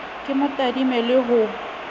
ke mo tadime le ho